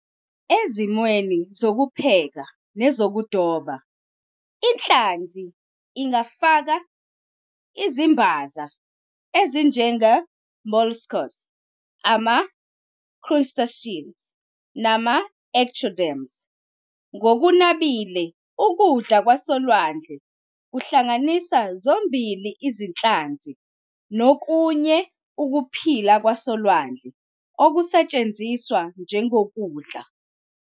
E"zimweni zokupheka nezokudoba, "inhlanzi" ingafaka izimbaza, ezinjenge- molluscs, ama-crustaceans nama- echinoderms, Ngokunabile, ukudla kwasolwandle kuhlanganisa zombili izinhlanzi nokunye ukuphila kwasolwandle okusetshenziswa njengokudla.